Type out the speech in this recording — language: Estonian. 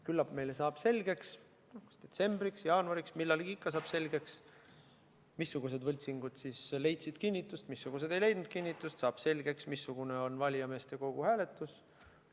Küllap meile saab selgeks, kas detsembriks või jaanuariks, aga millalgi ikka saab selgeks, missugused võltsingud leidsid kinnitust, missugused ei leidnud kinnitust, ja saab selgeks, missugune on valijameeste kogu hääletus.